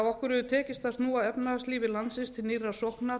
okkur hefur tekist að snúa efnahagslífi landsins til nýrrar sóknar